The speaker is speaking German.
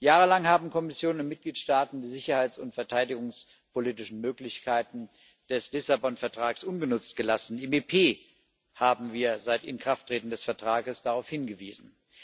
Jahrelang haben Kommission und Mitgliedstaaten die sicherheits und verteidigungspolitischen Möglichkeiten des Lissabon Vertrags ungenutzt gelassen. Im EP haben wir seit Inkrafttreten des Vertrages darauf hingewiesen.